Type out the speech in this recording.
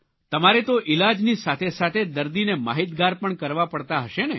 તમારે તો ઇલાજની સાથે સાથે દર્દીને માહિતગાર પણ કરવા પડતા હશે ને